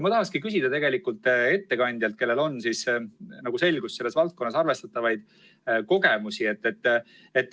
Ma tahangi küsida ettekandjalt, kellel on, nagu selgus, selles valdkonnas arvestatavaid kogemusi, järgmist.